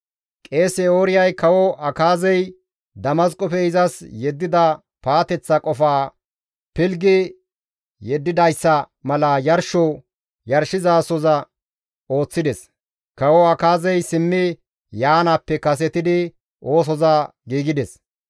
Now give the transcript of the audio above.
Qeese Ooriyay kawo Akaazey Damasqofe izas yeddida paateththa qofaa pilggi yeddidayssa mala yarsho yarshizasoza ooththides; kawo Akaazey simmi yaanaappe kasetidi oosoza giigides.